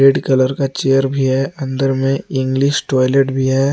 Colour का chair भी है अंदर में इंग्लिश टॉयलेट भी है।